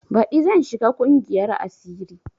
Baɗi zan shiga ƙungiyar asiri